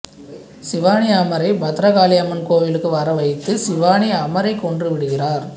சிவானி அமரை பத்ரகாளியம்மன் கோவிலுக்கு வரவலைத்து சிவானி அமரைக் கொன்றுவிடுகிறார்